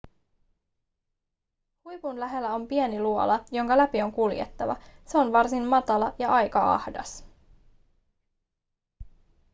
huipun lähellä on pieni luola jonka läpi on kuljettava se on varsin matala ja aika ahdas